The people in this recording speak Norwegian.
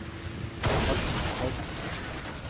Rasmus Tveit